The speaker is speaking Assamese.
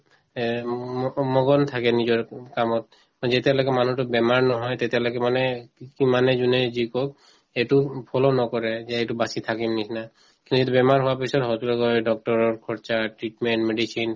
এ উম মকম মগন থাকে নিজৰ উম কামত যেতিয়ালৈকে মানুহতোৰ বেমাৰ নহয় তেতিয়ালৈকে মানে মানে যোনে যি কওঁক সেইটো উম follow নকৰে যে এইটো বাচি থাকিম নিচিনা কিন্তু বেমাৰ হোৱাৰ পিছত হয়তো লগে লগে doctor ৰৰ খৰচা, treatment, medicine